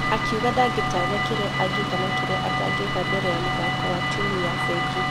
Akĩuga ndangetanya kĩrĩa angĩka na kĩrĩa atangĩka mbere ya mũthako wa timũ ya fengi.